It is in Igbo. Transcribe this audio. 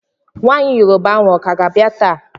Nwaanyị Yoroba ahụ ọka ga-abịa taa?